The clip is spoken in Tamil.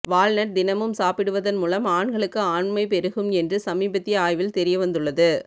வால்நட் தினமும் சாப்பிடுவதன் மூலம் ஆண்களுக்கு ஆண்மை பெருகும் என்று சமீபத்திய ஆய்வில் தெரியவந்துள்ளது